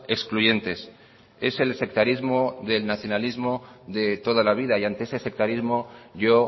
excluyentes es el sectarismo del nacionalismo de toda la vida y ante ese sectarismo yo